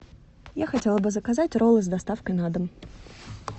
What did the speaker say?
я хотела бы заказать роллы с доставкой на дом